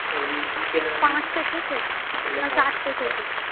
ওই বিকেল